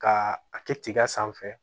Ka a kɛ tiga sanfɛ